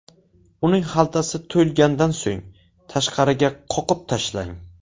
Uning xaltasi to‘lgandan so‘ng, tashqariga qoqib tashlang.